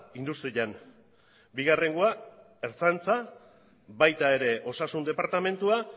industrian bigarrengoa ertzaintza baita ere osasun departamentua